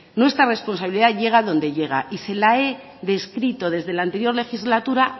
nuestra responsabilidad llega donde llega y se la he descrito desde la anterior legislatura